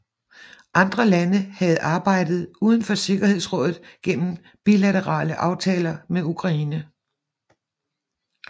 Andre lande havde arbejdet uden for Sikkerhedsrådet gennem bilaterale aftaler med Ukraine